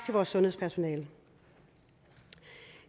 vores sundhedspersonale